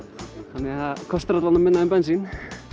þannig að kostar alla vega minna en bensín